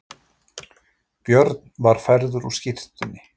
Björn var færður úr skyrtunni.